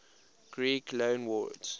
greek loanwords